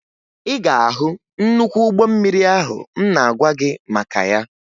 Ị ga-ahụ nnukwu ụgbọ mmiri ahụ m na-agwa gị maka ya